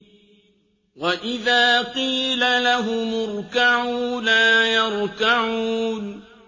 وَإِذَا قِيلَ لَهُمُ ارْكَعُوا لَا يَرْكَعُونَ